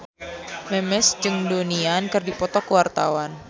Memes jeung Donnie Yan keur dipoto ku wartawan